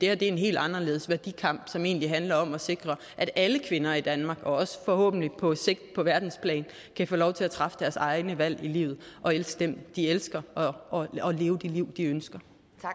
er en helt anderledes værdikamp som egentlig handler om at sikre at alle kvinder i danmark og forhåbentlig på sigt på verdensplan kan få lov til at træffe deres egne valg i livet elske dem de elsker og og leve det liv de ønsker